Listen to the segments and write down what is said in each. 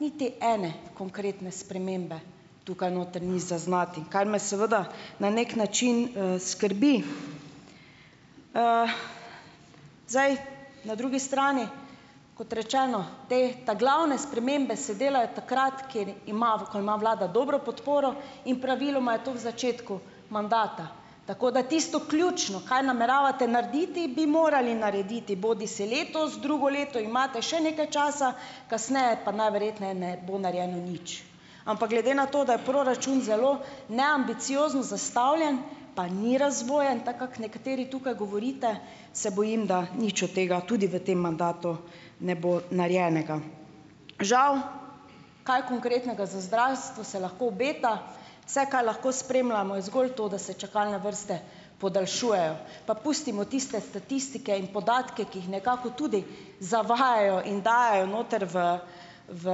niti ene konkretne spremembe tukaj notri ni zaznati, kar me seveda na neki način skrbi. Zdaj, na drugi strani, kot rečeno, te ta glavne spremembe se delajo takrat, ima, ko ima vlada dobro podporo, in praviloma je to v začetku mandata, tako da tisto ključno, kaj nameravate narediti, bi morali narediti bodisi letos, drugo leto imate še nekaj časa, kasneje pa najverjetneje ne bo narejeno nič, ampak glede na to, da je proračun zelo neambiciozno zastavljen, pa ni razvoja in tako, kako nekateri tukaj govorite, se bojim, da nič od tega tudi v tem mandatu ne bo narejenega, žal. Kaj konkretnega zdravstvo se lahko obeta, vse, kaj lahko spremljamo, je zgolj to, da se čakalne vrste podaljšujejo, pa pustimo tiste statistike, ki jih nekako tudi zavajajo in dajejo notri v v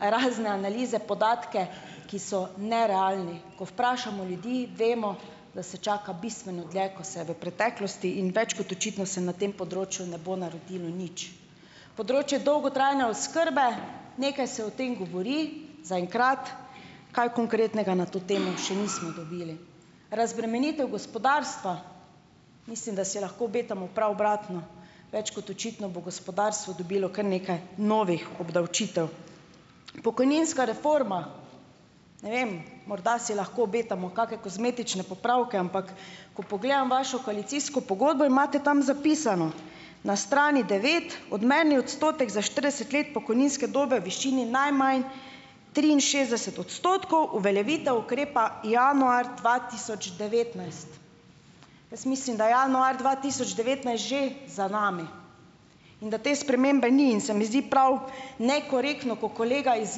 razne analize podatke, ki so nerealni, ko vprašamo ljudi, vemo, da se čaka bistveno dlje, ko se je v preteklosti, in več kot očitno se na tem področju ne bo naredilo nič. Področje dolgotrajne oskrbe: nekaj se o tem govori, zaenkrat kaj konkretnega na to temo še nismo dobili. Razbremenitev gospodarstva: mislim, da si lahko obetamo prav obratno, več kot očitno bo gospodarstvo dobila kar nekaj novih obdavčitev. Pokojninska reforma: ne vem, morda si lahko obetamo kake kozmetične popravke, ampak ko pogledam vašo koalicijsko pogodbo, imate tam zapisano na strani devet odmerni odstotek za štirideset let pokojninske dobe v višini najmanj triinšestdeset odstotkov, uveljavitev ukrepa januar dva tisoč devetnajst. Jaz mislim, da januar dva tisoč devetnajst že za nami in da te spremembe ni, in se mi zdi prav nekorektno, ko kolega iz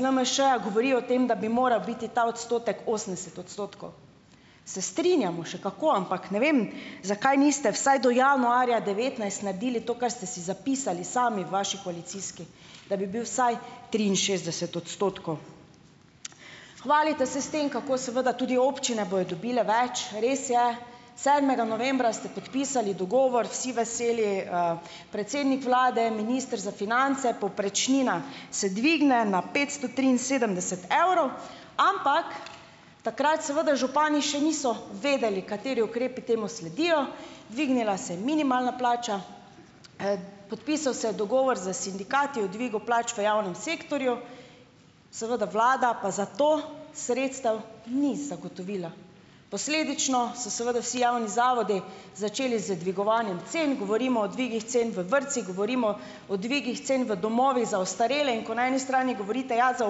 LMŠ-ja govori o tem, da bi moral biti ta odstotek osemdeset odstotkov, se strinjamo še kako, ampak ne vem, zakaj niste vsaj do januarja devetnajst naredili to, kar ste si zapisali sami v vaši koalicijski, da bi bil vsaj triinšestdeset odstotkov. Hvalite se s tem, kako seveda tudi občine bojo dobile več, res je, sedmega novembra ste podpisali dogovor vsi veseli, predsednik vlade je minister za finance, povprečnina se dvigne na petsto triinsedemdeset evrov, ampak takrat seveda župani še niso vedeli, kateri ukrepi temu sledijo, dvignila se je minimalna plača, podpisal se je dogovor s sindikati o dvigu plač v javnem sektorju. seveda vlada pa za to sredstev ni zagotovila, posledično so seveda vsi javni zavodi začeli z dvigovanjem cen, govorimo o dvigih cen v vrtcih, govorimo o dvigih cen v domovih za ostarele, in ko na eni strani govorite, ja, za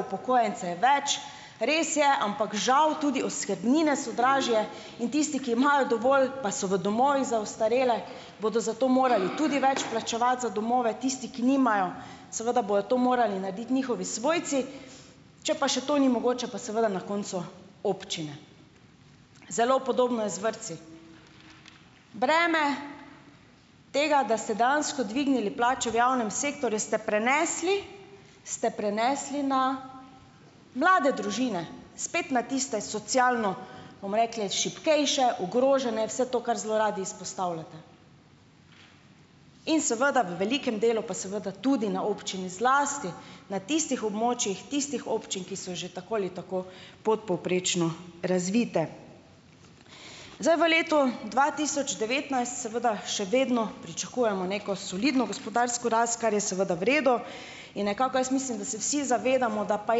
upokojence je več, res je, ampak, žal tudi oskrbnine so dražje, in tisti, ki imajo dovolj pa so v domovih za ostarele, bodo za to morali tudi več plačevati za domove, tisti, ki nimajo, seveda bojo to morali narediti njihovi svojci, če pa še to ni mogoče, pa seveda na koncu občine. Zelo podobno je z vrtci, breme tega, da se dejansko dvignili plače v javnem sektorju, ste prenesli, ste prenesli na mlade družine, spet na tiste socialno, bom rekla, šibkejša, ogrožene, vse to, kar zelo radi izpostavljate, in seveda v velikem delu pa seveda tudi na občini, zlasti na tistih območjih tistih občini, ki so že tako ali tako podpovprečno razvite. Zdaj v letu dva tisoč devetnajst seveda še vedno pričakujemo neko solidno gospodarsko rast, kar je seveda v redu, in nekako jaz mislim, da se vsi zavedamo, da pa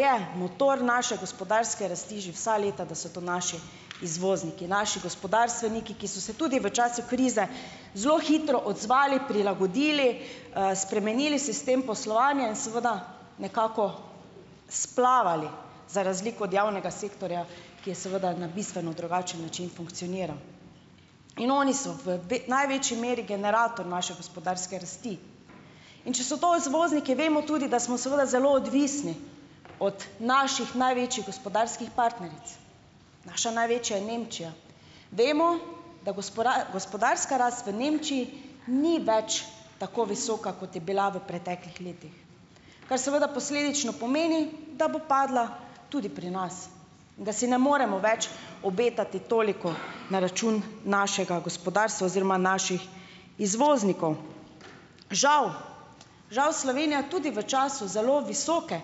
je motor naše gospodarske rasti že vsa leta, da so to naši izvozniki, naši gospodarstveniki, ki so se tudi v času krize zelo hitro odzvali, prilagodili, spremenili sistem poslovanja in seveda nekako splavali, za razliko od javnega sektorja, ki je seveda na bistveno drugačen način funkcioniral, in oni so v največji meri generator naše gospodarske rasti, in če so to izvozniki, vemo tudi, da smo seveda zelo odvisni od naših največjih gospodarskih partneric, naša največja je Nemčija, vemo, da gospodarska rast v Nemčiji ni več tako visoka, kot je bila v preteklih letih, kar seveda posledično pomeni, da bo padla tudi pri nas in da si ne moremo več obetati toliko na račun našega gospodarstva oziroma naših izvoznikov, žal, žal Slovenija tudi v času zelo visoke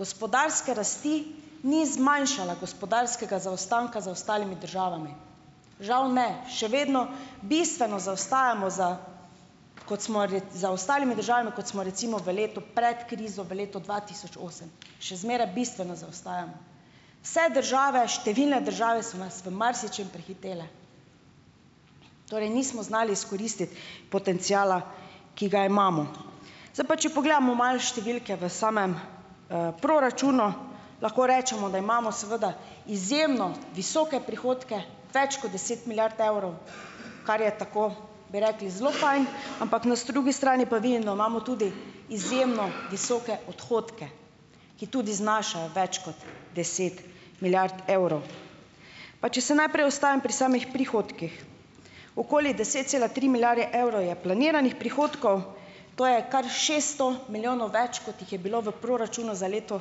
gospodarske rasti ni zmanjšala gospodarskega zaostanka za ostalimi državami, žal, ne, še vedno bistveno zaostajamo za kot smo za ostalimi državami, kot smo recimo v letu pred krizo v letu dva tisoč osem, še zmeraj bistveno zaostajamo, vse države številne države so nas v marsičem prehitele, torej nismo znali izkoristiti potenciala, ki ga imamo, zdaj pa če pogledamo malo številke v samem proračunu, lahko rečemo, da imamo seveda izjemno visoke prihodke, več kot deset milijard evrov, kar je tako, bi rekli, zelo fajn, ampak na drugi strani pa vidim, da imamo tudi izjemno visoke odhodke, ki tudi znašajo več kot deset milijard evrov, pa če se najprej ustavim pri samih prihodkih, okoli deset cela tri milijarde evrov je planiranih prihodkov, to je kar šeststo milijonov več, kot jih je bilo v proračunu za leto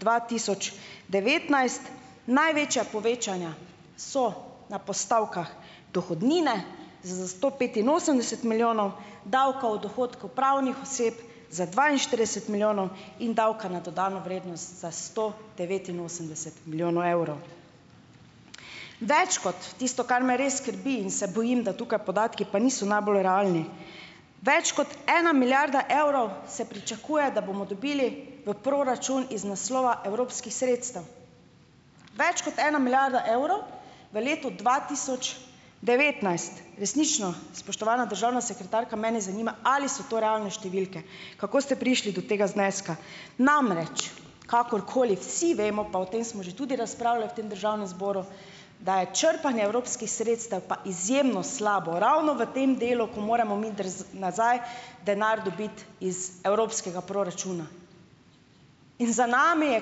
dva tisoč devetnajst, največja povečanja so na postavkah dohodnine s sto petinosemdeset milijonov, davka od odhodkov pravnih oseb za dvainštirideset milijonov in davka na dodano vrednost za sto devetinosemdeset milijonov evrov. Več kot tisto, kar me res skrbi, in se bojim, da tukaj podatki pa niso najbolj realni, več kot ena milijarda evrov se pričakuje, da bomo dobili v proračun iz naslova evropskih sredstev, več kot ena milijarda evrov v letu dva tisoč devetnajst. Resnično, spoštovana državna sekretarka, mene zanima, ali so to realne številke, kako ste prišli do tega zneska, namreč, kakorkoli, vsi vemo, pa o tem smo že tudi razpravljali v tem državnem zboru, da je črpanje evropskih sredstev pa izjemno slabo ravno v tem delu - nazaj denar dobiti iz evropskega proračuna. In za nami je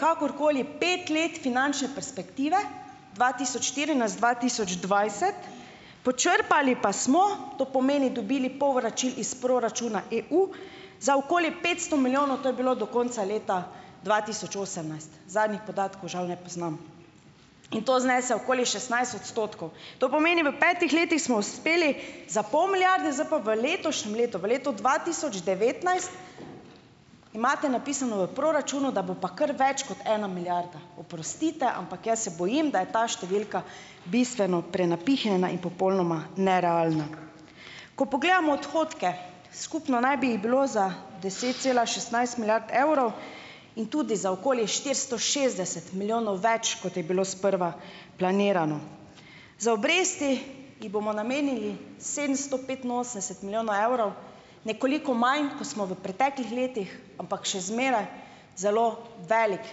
kakorkoli pet let finančne perspektive dva tisoč štirinajst-dva tisoč dvajset, počrpali pa smo, to pomeni dobili povračil iz proračuna EU, za okoli petsto milijonov, to je bilo do konca leta dva tisoč osemnajst, zadnjih podatkov žal ne poznam, in to znese okoli šestnajst odstotkov, to pomeni: v f petih letih smo uspeli za pol milijarde, zdaj pa v letošnjem letu v letu dva tisoč devetnajst imate napisano v proračunu, da bo pa kar več kot ena milijarda, oprostite, ampak jaz se bojim, da je ta številka bistveno prenapihnjena in popolnoma nerealna, ko pogledamo odhodke, skupno naj bi jih bilo za deset cela šestnajst milijard evrov in tudi za okoli štiristo šestdeset milijonov več, kot je bilo sprva planirano, za obresti ji bomo namenili sedemsto petinosemdeset milijonov evrov, nekoliko manj, ko smo v preteklih letih, ampak še zmeraj zelo veliko,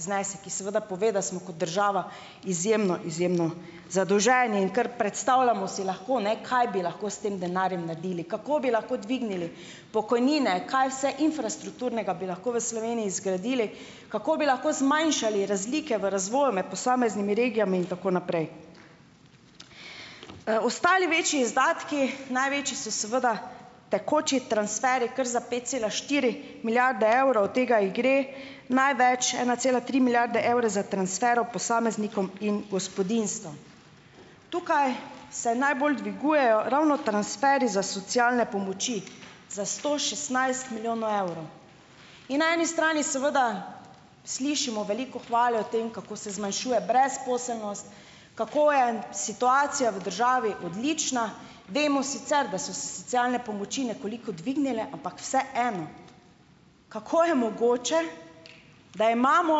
znesek, ki seveda pove, da smo kot država izjemno izjemno zadolženi, in kar predstavljamo si lahko, ne, kaj bi lahko s tem denarjem naredili, kako bi lahko dvignili pokojnine, kaj vse infrastrukturnega bi lahko v Sloveniji zgradili, kako bi lahko zmanjšali razlike v razvoju med posameznimi regijami in tako naprej. Ostali večji izdatki največji so seveda tekoči transferji, kar za pet cela štiri milijarde evrov, od tega jih gre največ ena cela tri milijarde evre za transfere v posameznikom in gospodinjstvom, tukaj se najbolj dvigujejo ravno transferji za socialne pomoči, za sto šestnajst milijonov evrov, in na eni strani seveda slišimo veliko hvale o tem, kako se zmanjšuje brezposelnost, kako je situacija v državi odlična, vemo sicer, da so socialne pomoči nekoliko dvignile, ampak vseeno, kako je mogoče, da imamo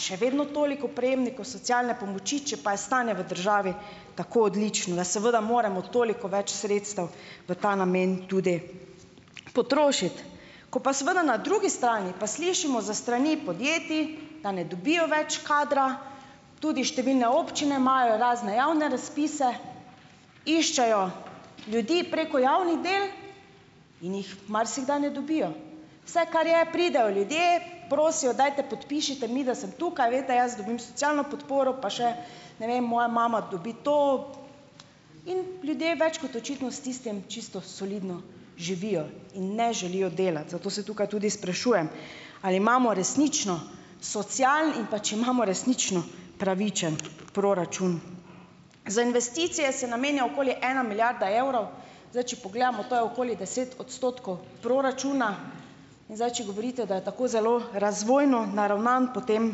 še vedno toliko prejemnikov socialne pomoči, če pa je stanje v državi tako odlično, da seveda moramo toliko več sredstev v ta namen tudi potrošiti, ko pa seveda na drugi strani pa slišimo za strani podjetij, da ne dobijo več kadra, tudi številne občine imajo razne javne razpise, iščejo ljudi preko javnih del in jih marsikdaj ne dobijo, vse, kar je, pridejo ljudje prosijo, dajte podpišite mi, da sem tukaj, veste, jaz dobim socialno podporo, pa še ne vem, moja mama dobi to, in ljudje več kot očitno s tistim čisto solidno živijo in ne želijo delati, zato se tukaj tudi sprašujem, ali imamo resnično social, in pa če imamo resnično pravičen proračun. Za investicije se namenja okoli ena milijarda evrov, zdaj, če pogledamo, to je okoli deset odstotkov proračuna, in zdaj, če govorite, da je tako zelo razvojno naravnan, potem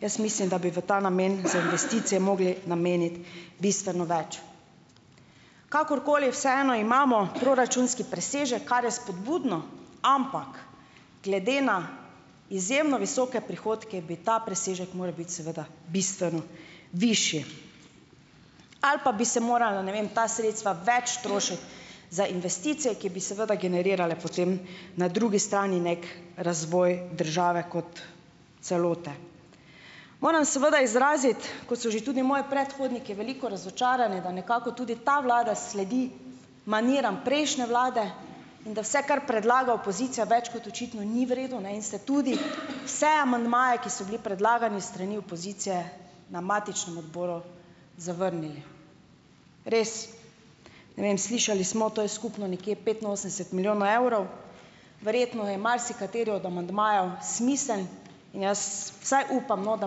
jaz mislim, da bi v ta namen za investicije mogli nameniti bistveno več, kakorkoli, vseeno imamo proračunski presežek, kar je vzpodbudno, ampak glede na izjemno visoke prihodke bi ta presežek moral biti seveda bistveno višji ali pa bi se morala, ne vem, ta sredstva več trošiti za investicijo, ki bi seveda generirale potem na drugi strani neko razvoj države kot celote. Moram seveda izraziti, kot so že tudi moji predhodniki, veliko razočaranje, da nekako tudi ta vlada sledi maniram prejšnje vlade in da vse, kar predlaga opozicija, več kot očitno ni v redu ne in se tudi vse amandmaje, ki so bili predlagani s strani opozicije na matičnem odboru, zavrnili, res ne vem, slišali smo, to je skupno nekje petinosemdeset milijonov evrov, verjetno je marsikateri od amandmajev smiseln, in jaz vsaj upam, no, da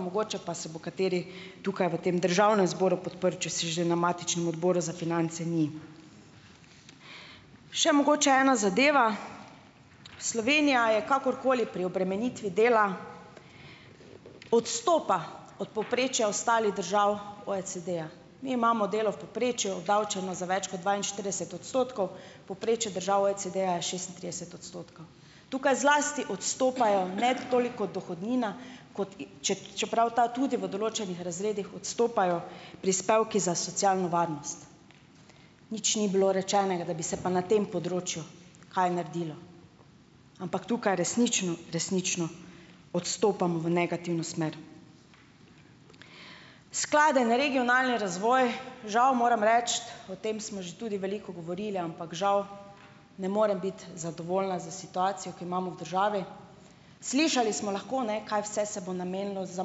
mogoče pa se bo kateri tukaj v tem državnem zboru podprl, če se že na matičnem odboru za finance ni. Še mogoče ena zadeva, Slovenija je kakorkoli pri obremenitvi dela odstopa od povprečja ostalih držav OECD-ja, mi imamo delo v povprečju obdavčeno za več kot dvainštirideset odstotkov, povprečju država OECD-ja je šestintrideset odstotkov, tukaj zlasti odstopajo ne toliko dohodnina, kot i čeprav ta tudi v določenih razredih, odstopajo prispevki za socialno varnost, nič ni bilo rečenega, da bi se pa na tem področju kaj naredilo, ampak tukaj resnično, resnično odstopamo v negativno smer. Skladen regionalni razvoj. Žal moram reči, o tem smo že tudi veliko govorili, ampak žal ne morem biti zadovoljna s situacijo, ki jo imamo v državi, slišali smo lahko, ne, kaj vse se bo namenilo za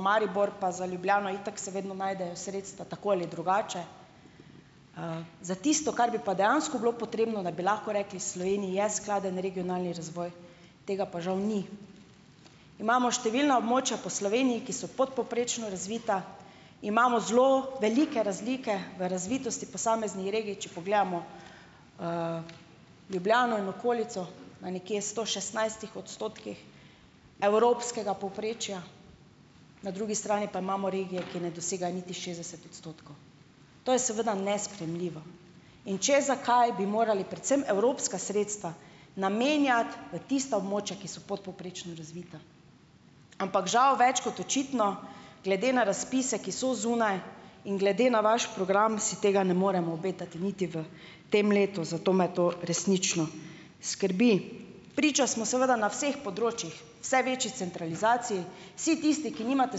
Maribor pa za Ljubljano, itak se vedno najdejo sredstva tako ali drugače, za tisto, kar bi pa dejansko bilo potrebno, da bi lahko rekli Sloveniji je skladen regionalni razvoj, tega pa žal ni, imamo številna območja po Sloveniji, ki so podpovprečno razvita, imamo zelo velike razlike v razvitosti posameznih regij, če pogledamo Ljubljano in okolico, na nekje sto šestnajstih odstotkih evropskega povprečja, na drugi strani pa imamo regije, ki ne dosegajo niti šestdeset odstotkov, to je seveda nesprejemljivo, in če zakaj bi morali predvsem evropska sredstva namenjati v tista območja, ki so podpovprečno razvita, ampak žal več kot očitno, glede na razpise, ki so zunaj, in glede na naš program, si tega ne moremo obetati niti v tem letu, zato me to resnično skrbi, priča smo seveda na vseh področjih vse večji centralizaciji, vsi tisti, ki nimate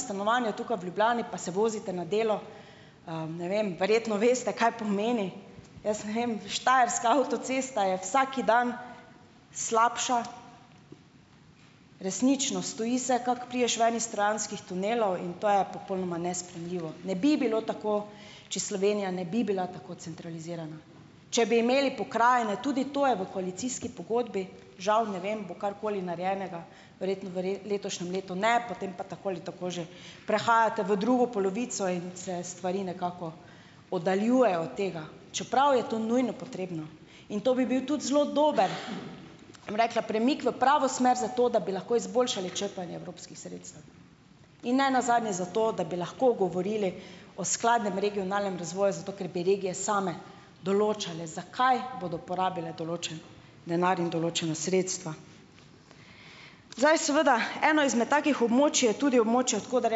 stanovanja tukaj v Ljubljani, pa se vozite na delo ne vem, verjetno veste, kaj pomeni, jaz ne vem, štajerska avtocesta je vsak dan slabša, resnično stoji se, kako prideš ven iz trojanskih tunelov, in to je popolnoma nesprejemljivo, ne bi bilo tako, če Slovenija ne bi bila tako centralizirana, če bi imeli pokrajine, tudi to je v koalicijski pogodbi, žal ne vem, bo karkoli narejenega, verjetno letošnjem letu ne, potem pa tako ali tako že prehajate v drugo polovico in se stvari nekako oddaljujejo od tega, čeprav je to nujno potrebno, in to bi bil tudi zelo dober, bom rekla, premik v pravo smer, zato da bi lahko izboljšali črpanje evropskih sredstev in nenazadnje zato da bi lahko govorili o skladnem regionalnem razvoju, zato ker bi regije same določale, zakaj bodo porabile določeno denar in določena sredstva. Zdaj, seveda, eno izmed takih območij je tudi območje, od koder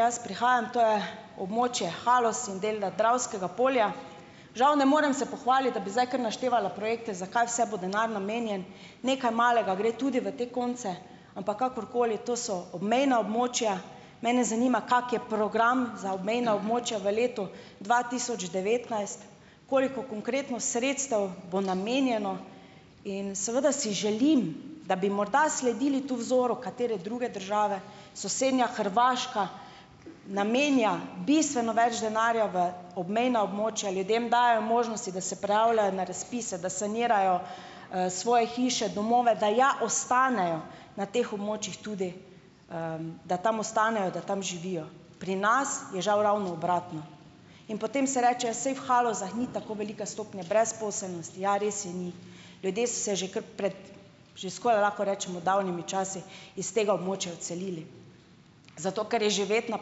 jaz prihajam, to je območje Haloz in del Dravskega polja, žal ne morem se pohvaliti, da bi zdaj kar naštevala projekte, za kaj vse bo denar namenjen, nekaj malega gre tudi v te konce, ampak kakorkoli, to so obmejna območja, mene zanima, kak je program za obmejna območja v letu dva tisoč devetnajst, koliko konkretno sredstev bo namenjeno, in seveda si želim, da bi morda sledili tu vzoru katere druge države, sosednja Hrvaška namenja bistveno več denarja v obmejna območja, ljudem dajejo možnosti, da se prijavljajo na razpise, da sanirajo svoje hiše domove, da ja ostanejo na teh območjih, tudi da tam ostanejo, da tam živijo, pri nas je žal ravno obratno, in potem se rečejo se v Halozah ni tako velike stopnje brezposelnosti, ja, res je ni, ljudje so se že kar pred že skoraj, lahko rečemo, davnimi časi iz tega območja odselili. Zato ker je živeti na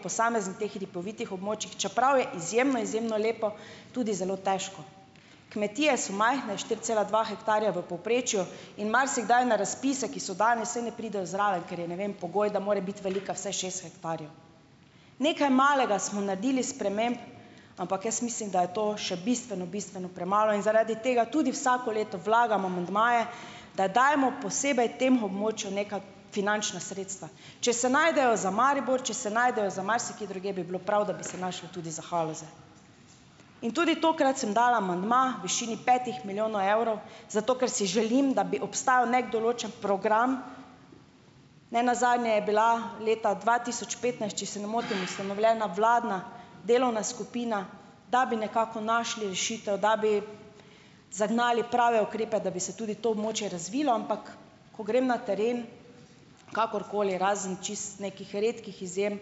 posameznih teh hribovitih območjih, čeprav je izjemno izjemno lepo, tudi zelo težko, kmetije so majhne štiri cela dva hektarja v povprečju, in marsikdaj na razpise, ki so danes, saj ne pridejo zraven, ker je, ne vem, pogoj, da mora biti velika vsaj šest hektarjev, nekaj malega smo naredili sprememb, ampak jaz mislim, da je to še bistveno bistveno premalo in zaradi tega tudi vsako leto vlagamo amandmaje, da dajmo posebej tem območju neka finančna sredstva, če se najdejo za Maribor, če se najdejo za marsikje drugje, bi bilo prav, da bi se našlo tudi za Haloze, in tudi tokrat sem dala amandma višini petih milijonov evrov, zato ker si želim, da bi obstajal neki določen program, nenazadnje je bila leta dva tisoč petnajst, če se ne motim, ustanovljena vladna delovna skupina, da bi nekako našli rešitev, da bi zagnali prave ukrepe, da bi se tudi to območje razvilo, ampak ko grem na teren, kakorkoli, razen čisto nekih redkih izjem,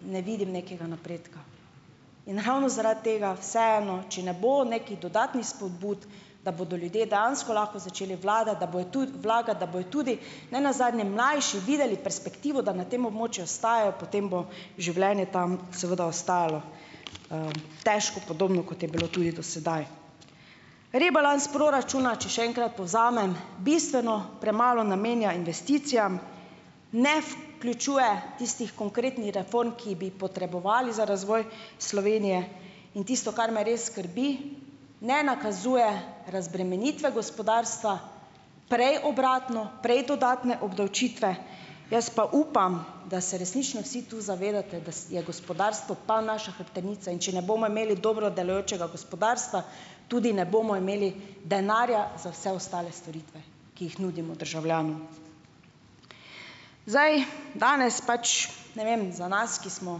ne vidim nekega napredka in ravno zaradi tega vseeno, če ne bo nekih dodatnih vzpodbud, da bodo ljudje dejansko lahko začeli vlagati, da bojo vlaga, da bojo tudi nenazadnje mlajši videli perspektivo, da na tem območju ostajajo, potem bo življenje tam seveda ostalo težko, podobno, kot je bilo tudi do sedaj. Rebalans proračuna, če se enkrat povzamem, bistveno premalo namenja investicijam, ne vključuje tistih konkretnih reform, ki bi jih potrebovali za razvoj Slovenije, in tisto, kar me res skrbi, ne nakazuje razbremenitve gospodarstva, prej obratno, prej dodatne obdavčitve, jaz pa upam, da se resnično vsi tu zavedate, da je gospodarstvo pol naša hrbtenica, in če ne bomo imeli dobro delujočega gospodarstva, tudi ne bomo imeli denarja za vse ostale storitve, ki jih nudimo državljanom, zdaj, danes pač, ne vem, za nas, ki smo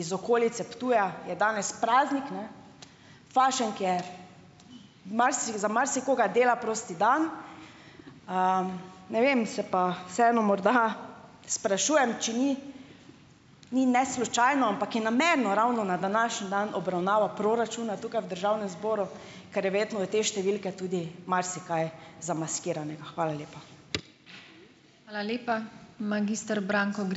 iz okolice Ptuja, je danes praznik, ne, fašenk je za marsikoga dela prost dan, ne vem, se pa vseeno morda sprašujem, če ni, ni, ne, slučajno, ampak je namenu ravno na današnji dan obravnavo proračuna tukaj v državnem zboru, kar je verjetno, da te številke tudi marsikaj zamaskiranega. Hvala lepa.